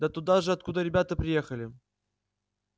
да туда же откуда ребята приехали